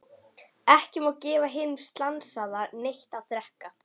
Ekki má gefa hinum slasaða neitt að drekka.